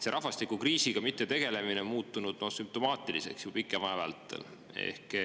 See rahvastikukriisiga mittetegelemine on muutunud juba sümptomaatiliseks pikema aja vältel.